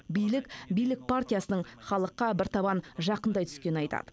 билік билік партиясының халыққа бір табан жақындай түскенін айтады